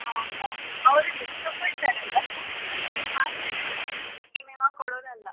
ಹೌದ ಅವ್ರು ದುಡ್ಡ್ ತಕ್ಕೊಳ್ತಾರೆ ಅಲ್ವಾ ಅದ್ರ ಪ್ರಕಾರ ಮಾಡ್ಬೇಕ್ ಯಾವತ್ತೂ ಏನ್ ಏನೋ ಕೊಡೋದು ಅಲ್ಲ.